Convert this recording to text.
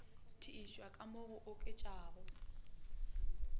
tiišwa ka mo go oketšegago